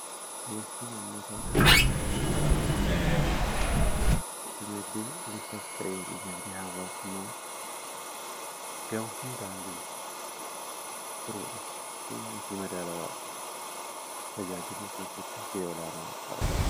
assinmmataa hinagdee uufaas ta'ee inagde hawwaasumaa gaba hundaan jiru buruudha yatti madaalawaadhu tajaajiduu keessatti geeolaanaa kaba